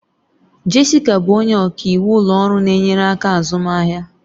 Jessica bụ onye ọka iwu ụlọ ọrụ na-enyere aka azụmaahịa